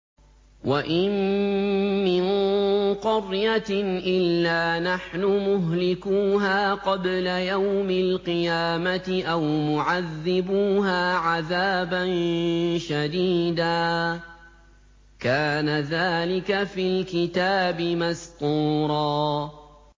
وَإِن مِّن قَرْيَةٍ إِلَّا نَحْنُ مُهْلِكُوهَا قَبْلَ يَوْمِ الْقِيَامَةِ أَوْ مُعَذِّبُوهَا عَذَابًا شَدِيدًا ۚ كَانَ ذَٰلِكَ فِي الْكِتَابِ مَسْطُورًا